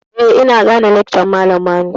Eh, ina gane lakcan malam Manu.